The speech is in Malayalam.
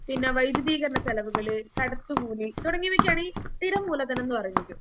പിന്നെ വൈദ്യുതീകരണ ചെലവുകള്, കടത്തുകൂലി തുടങ്ങിയവയ്ക്കാണ് സ്ഥിരം മൂലധനംന്ന് പറയുന്നത്.